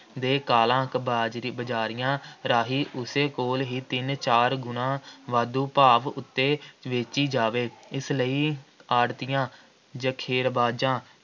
ਦੇ ਕਾਲਾ-ਕਬਾਜ਼ੀ- ਬਜ਼ਾਰੀਆਂ ਰਾਹੀਂ ਉਸੇ ਕੋਲ ਹੀ ਤਿੰਨ-ਚਾਰ ਗੁਣਾ ਵਾਧੂ ਭਾਅ ਉੱਤੇ ਵੇਚੀ ਜਾਵੇ, ਇਸ ਲਈ ਆੜ੍ਹਤੀਆਂ, ਜ਼ਖੀਰੇਬਾਜ਼ਾਂ